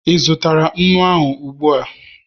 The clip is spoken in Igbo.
ị zụtara nnu ahụ ụgbua?